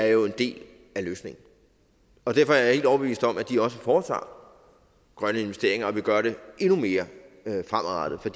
jo er en del af løsningen derfor er jeg helt overbevist om at de også foretager grønne investeringer og vil gøre det endnu mere fremadrettet for